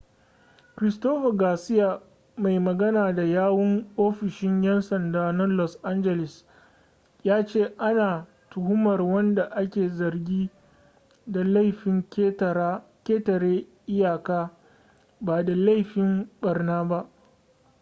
christopher garcia mai magana da yawun ofishin 'yan sanda na los angeles ya ce ana tuhumar wanda ake zargi da laifin ketare iyaka ba da laifin barna ba